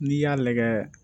N'i y'a lagɛ